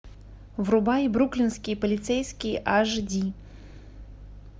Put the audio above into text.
врубай бруклинские полицейские аш ди